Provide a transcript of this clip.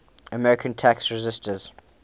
american tax resisters